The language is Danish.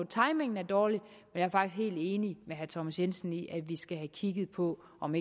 timingen er dårlig men er faktisk helt enig med herre thomas jensen i at vi skal have kigget på om